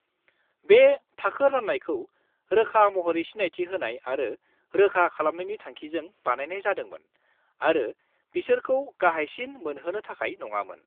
बे थाखो राननायखौ रोखा महरै सिनायथि होनाय आरो रोखा खालामनायनि थांखिजों बानायनाय जादोंमोन आरो बिसोरखौ गाहायसिन मोनहोनो थाखाय नङामोन।